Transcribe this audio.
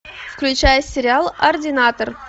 включай сериал ординатор